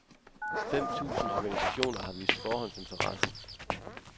Fem tusind organisationer har vist forhåndsinteresse.